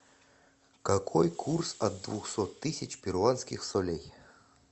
какой курс от двухсот тысяч перуанских солей